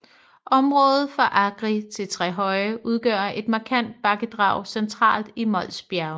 Området fra Agri til Trehøje udgør et markant bakkedrag centralt i Mols Bjerge